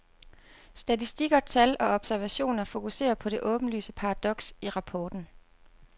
Statistikker, tal og observationer fokuserer på det åbenlyse paradoks i rapporten.